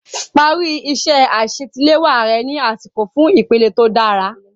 Parí iṣẹ́ àṣetiléwá rẹ ní àsìkò fún ìpele tó dára.